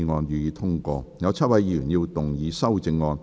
有7位議員要動議修正案。